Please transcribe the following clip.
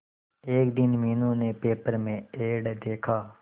एक दिन मीनू ने पेपर में एड देखा